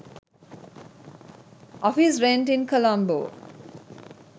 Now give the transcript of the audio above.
office rent in colombo